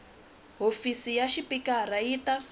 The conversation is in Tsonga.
hofisi ya xipikara yi ta